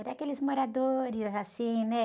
Era aqueles moradores, assim, né?